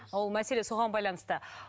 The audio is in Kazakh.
ол мәселе соған байланысты